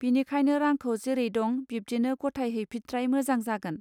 बिनिखायनो रांखौ जेरै दं बिब्दिनो गथाय हैफित्राय मोजां जागोन.